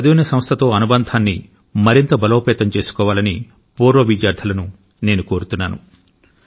వారు చదివిన సంస్థతో అనుబంధాన్ని మరింత బలోపేతం చేసుకోవాలని పూర్వ విద్యార్థులను నేను కోరుతున్నాను